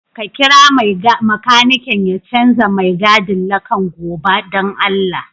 Ka kira makanikin ya chanza mai gadin lakan goba dan allah.